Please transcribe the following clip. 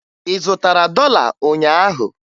Ị zụtara dọla ụnyaahụ?